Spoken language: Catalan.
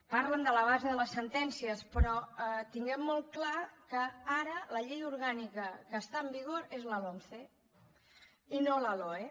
parlen de la base de les sentències però tinguem molt clar que ara la llei orgànica que està en vigor és la lomce i no la loe